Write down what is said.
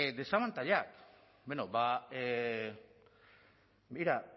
desabantaila bueno ba begira